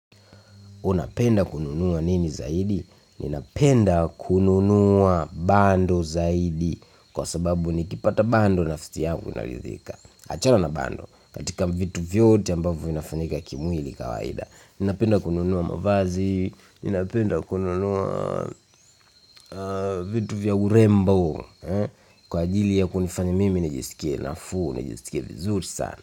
Unapenda kununua nini zaidi? Ninapenda kununua bando zaidi, kwa sababu nikipata bando, nafsi yangu inaridhika. Achana na bando, katika vitu vyote ambavo inafanyika kimwili kawaida, ninapenda kununua mavazi, ninapenda kununua vitu vya urembo, kwa ajili ya kunifanya mimi nijisikie nafuu, nijisikie vizuri sana.